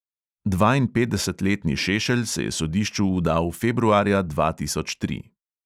Dvainpetdesetletni šešelj se je sodišču vdal februarja dva tisoč tri.